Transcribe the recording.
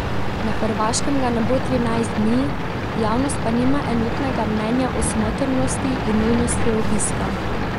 Na Hrvaškem ga ne bo trinajst dni, javnost pa nima enotnega mnenja o smotrnosti in nujnosti obiska.